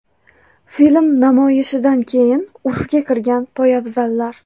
Film namoyishidan keyin urfga kirgan poyabzallar .